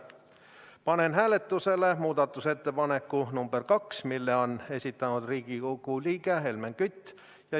Panen hääletusele muudatusettepaneku nr 2, mille on esitanud Riigikogu liige Helmen Kütt.